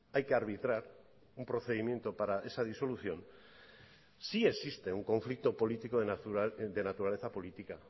hay que arbitrar un procedimiento para esa disolución sí existe un conflicto político de naturaleza política